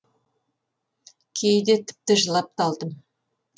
кейде тіпті жылап та алдым